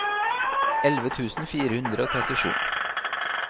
elleve tusen fire hundre og trettisju